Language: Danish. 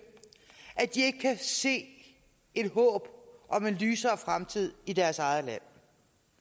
at de ikke kan se et håb om en lysere fremtid i deres eget land